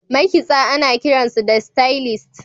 makitsa ana kiransu da stylist